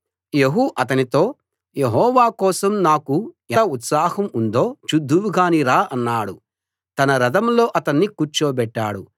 యెహూ అతనితో యెహోవా కోసం నాకు ఎంత ఉత్సాహం ఉందో చూద్దువుగాని రా అన్నాడు తన రథంలో అతణ్ణి కూర్చోబెట్టాడు